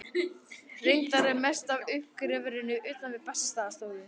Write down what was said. Reyndar er mest af uppgreftrinum utan við Bessastaðastofu.